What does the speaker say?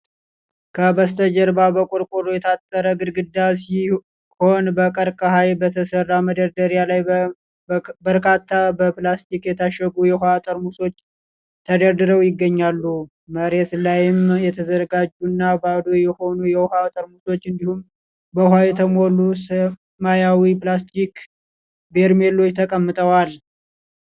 ከበስተጀርባ በቆርቆሮ የታጠረ ግድግዳ ሲሆን፣ በቀርከሃ በተሰራ መደርደሪያ ላይ በርካታ በፕላስቲክ የታሸጉ የውሃ ጠርሙሶች ተደርድረው ይገኛሉ። መሬት ላይም የተዘጋጁና ባዶ የሆኑ የውሃ ጠርሙሶች እንዲሁም በውሃ የተሞሉ ሰማያዊ ፕላስቲክ በርሜሎች ተቀምጠዋል።